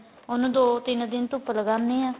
ਉਨੂੰ ਦੋ ਤਿੰਨ ਦਿਨ ਧੁੱਪ ਲਗਾਂਦੇ ਆ